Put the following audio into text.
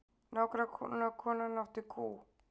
Nágrannakonan átti kú.